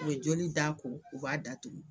U be joli da ko, u b'a datugu.